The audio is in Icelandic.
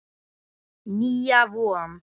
Nýja von.